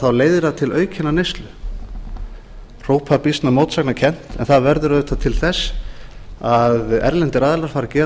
þá leiðir það til aukinnar neyslu þó er það býsna mótsagnakennt en það verður auðvitað til þess að erlendir aðilar fara að gera